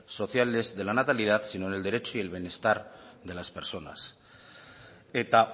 sociales de la natalidad sino en el derecho y en el bienestar de las personas eta